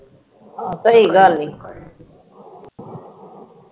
ਆਹ ਸਹੀ ਗੱਲ ਈ